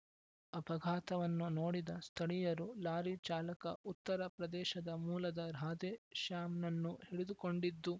ಅಪಘಾತವನ್ನು ನೋಡಿದ ಸ್ಥಳೀಯರು ಲಾರಿ ಚಾಲಕ ಉತ್ತರ ಪ್ರದೇಶದ ಮೂಲದ ರಾಧೆ ಶ್ಯಾಮ್‌ನನ್ನು ಹಿಡಿದುಕೊಂಡಿದ್ದು